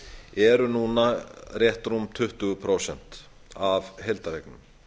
eru núna rétt rúm tuttugu prósent af heildareign